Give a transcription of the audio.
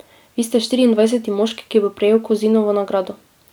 Vi ste štiriindvajseti moški, ki bo prejel Kozinovo nagrado.